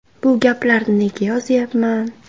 Bu gaplarni nega yozyapman?